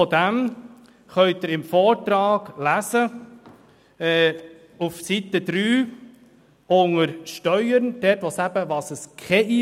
Der Gewerbestatus habe keinen Einfluss auf die Steuern, schreibt die Regierung.